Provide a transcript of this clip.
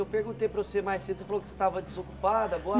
Eu perguntei para você mais cedo, você falou que estava desocupado agora?